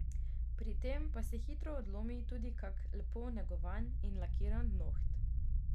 Pri tem pa se hitro odlomi tudi kak lepo negovan in lakiran noht.